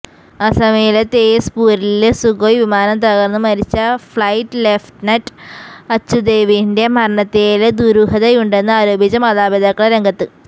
അസമിലെ തേസ് പൂരില് സുഖോയ് വിമാനം തകര്ന്ന് മരിച്ച ഫ്ലൈറ്റ് ലെഫ്റ്റനന്റ് അച്ചുദേവിന്റെ മരണത്തില് ദുരൂഹതയുണ്ടെന്ന് ആരോപിച്ച് മാതാപിതാക്കള് രംഗത്ത്